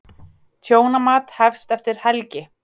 Tjónamat hefst eftir helgi.